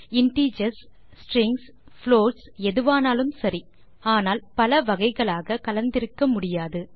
integers strings floats எதுவானாலும் சரி ஆனால் பல வகைகளாக கலந்திருக்க முடியாது